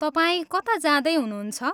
तपाईँ कता जाँदै हुनुहुन्छ?